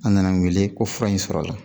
An nana n wele ko fura in sɔrɔla